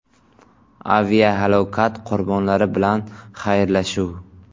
Aviahalokat qurbonlari bilan xayrlashuv.